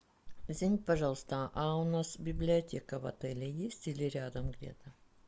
извините пожалуйста а у нас библиотека в отеле есть или рядом где то